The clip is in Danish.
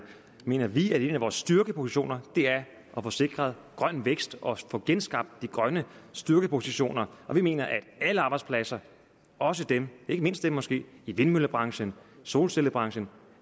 mener vi at en af vores styrkepositioner er at få sikret grøn vækst og at få genskabt de grønne styrkepositioner og vi mener at alle arbejdspladser også dem ikke mindst dem måske i vindmøllebranchen solcellebranchen